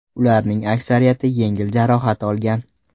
Ularning aksariyati yengil jarohat olgan.